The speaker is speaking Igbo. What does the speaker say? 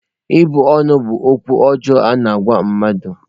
Ịbụ ọnụ bụ okwu ọjọọ a-na agwa mmadụ